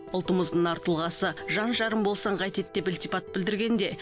ұлтымыздың нар тұлғасы жан жарым болсаң қайтеді деп ілтипат білдіргенде